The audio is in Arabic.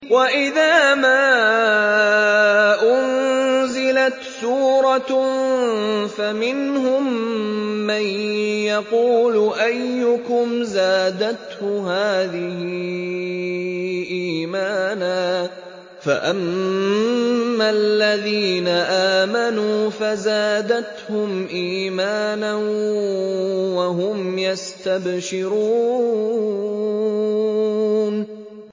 وَإِذَا مَا أُنزِلَتْ سُورَةٌ فَمِنْهُم مَّن يَقُولُ أَيُّكُمْ زَادَتْهُ هَٰذِهِ إِيمَانًا ۚ فَأَمَّا الَّذِينَ آمَنُوا فَزَادَتْهُمْ إِيمَانًا وَهُمْ يَسْتَبْشِرُونَ